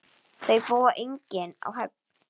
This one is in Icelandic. Þau búa einnig á Höfn.